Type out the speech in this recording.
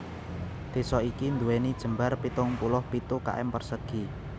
Désa iki nduwèni jembar pitung puluh pitu km persegi